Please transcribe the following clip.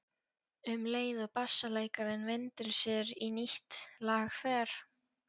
Um leið og bassaleikarinn vindur sér í nýtt lag fer